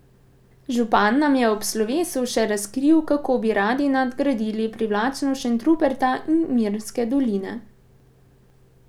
Župan nam je ob slovesu še razkril, kako bi radi nadgradili privlačnost Šentruperta in Mirnske doline.